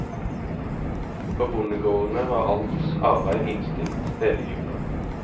På bondegårdene var alt arbeid innstilt hele jula.